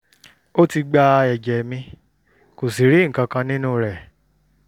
ó ti gba ẹ̀jẹ̀ mi kò sì rí nǹkan kan nínú rẹ̀